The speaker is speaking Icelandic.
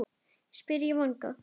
spyr ég vongóð.